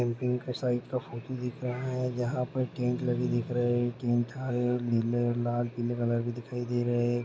Camping के side का photo दिख रहा है जहाँ पर टेंट लगे दिख रहे है टेंट हरे और नीले और लाल पीले कलर के दिखाई दे रहे हैं।